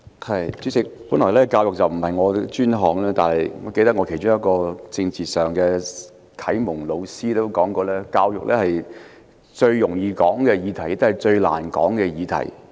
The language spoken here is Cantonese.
代理主席，教育本來並非我的專項，但我其中一位政治啟蒙老師說過，教育是最容易、也是最難討論的議題。